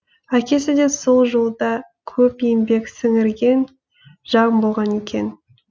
әкесі де сол жолда көп еңбек сіңірген жан болған екен